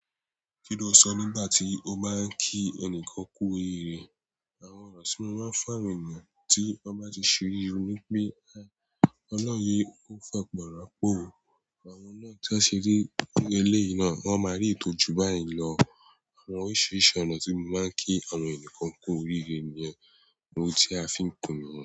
Kí ló sọ nígbà tí ó bá ń kí ẹnìkan kú oríire? Àwọn ọrọ ti máa ń fún ènìyàn tí wọ́n bá ti ṣe oré wi pé, "Ọlọ́run yóò fàpọ̀rọ̀po o àwọn náà tí wọ́n ṣe eléyìí náà, wọ́n máa rí ìyi tọ́jú báyìí lọ." Àwọn oríṣiríṣi ọ̀nà tí mo máa ń kí àwọn èèyàn kan kú oríire ní yen ohun tí a fi ń kùn niyen.